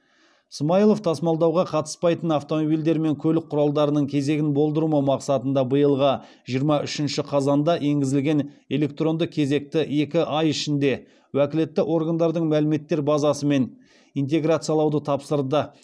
смайылов тасымалдауға қатыспайтын автомобильдер мен көлік құралдарының кезегін болдырмау мақсатында биылғы жиырма үшінші қазанда енгізілген электронды кезекті екі ай ішінде уәкілетті органдардың мәліметтер базасымен интеграциялауды тапсырды